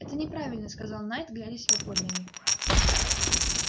это неправильно сказал найд глядя себе под ноги